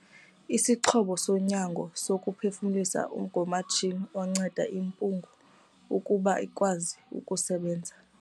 Isixhobo sonyango sokuphefumlisa ngumatshini onceda imiphunga ukuba ikwazi ukusebenza.